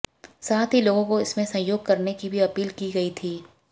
साथ ही लोगों को इसमें सहयोग करने की भी अपील की गयी थी